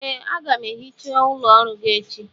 Ee, a ga m ehicha ụlọ ọrụ gị echi